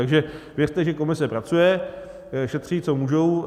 Takže věřte, že komise pracuje, šetří, co můžou.